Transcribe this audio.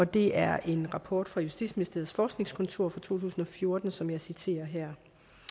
det er en rapport fra justitsministeriets forskningskontor fra to tusind og fjorten som jeg citerer her